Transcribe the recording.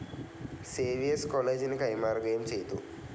Xavier's കോളേജിനു കൈമാറുകയും ചെയ്തു.